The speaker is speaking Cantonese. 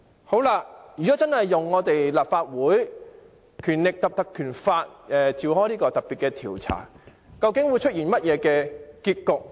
好了，如果真的引用《立法會條例》展開特別調查，究竟會出現甚麼結局？